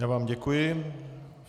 Já vám děkuji.